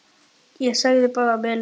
Ég sagði bara að mér leiddist.